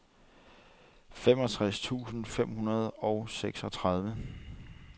femogtres tusind fem hundrede og seksogtredive